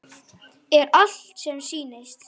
Er allt sem sýnist?